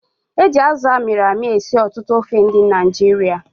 Eji Azụ amịrị amị esi ọtụtụ ofe ndị Naịjirịa